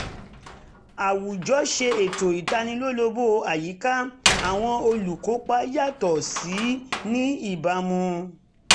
àwùjọ ṣe ètò ìtanilólobó àyíká àwọn olùkópa yàtọ̀ síra ní ìbámu